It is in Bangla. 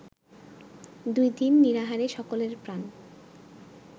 দুই দিন নিরাহারে সকলের প্রাণ